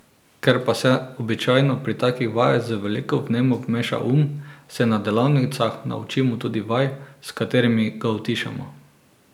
Ker pa se običajno pri takih vajah z veliko vnemo vmeša um, se na delavnicah naučimo tudi vaj, s katerimi ga utišamo.